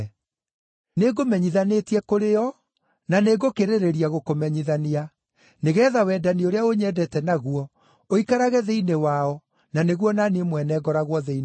Nĩngũmenyithanĩtie kũrĩ o, na nĩngũkĩrĩrĩria gũkũmenyithania, nĩgeetha wendani ũrĩa ũnyendete naguo ũikarage thĩinĩ wao na nĩguo o na niĩ mwene ngoragwo thĩinĩ wao.”